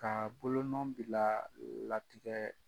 Ka bolonɔn bila latigɛ